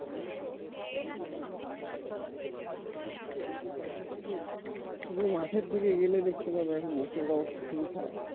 তুমি মাঠের দিকে গেলে দেখতে পাবে এখন মুসুরের অবস্থা খুবই খারাপ।